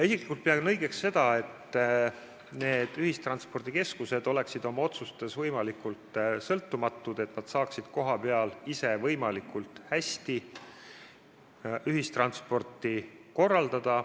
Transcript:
Isiklikult pean ma õigeks seda, et need ühistranspordikeskused oleksid oma otsustes võimalikult sõltumatud, et nad saaksid kohapeal ise võimalikult hästi ühistransporti korraldada.